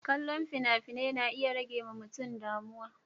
Kallon fina-finai na iya ɗan ɗan rage mutum daga damuwa.